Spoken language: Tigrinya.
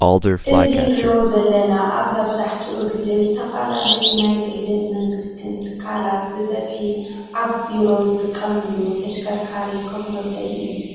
እዚ ንሪኦ ዘለና አብ መብዛሕቲኡ ግዜ ዝተፈላለዩ ናይ ግልን መንግስትን ትካላት ብበዝሒ አብ ቢሮ ዝጥቀምሉ ተሽከርካር ከፍ መበሊ አዩ ።